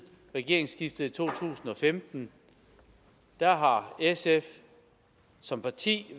regeringsskiftet i to tusind og femten har har sf som parti